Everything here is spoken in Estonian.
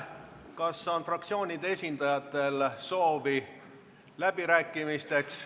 Kas fraktsioonide esindajatel on soovi läbi rääkida?